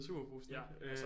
I Superbrugsen ikke